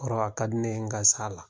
Kɔrɔ ka di ne ye n ka s'a la.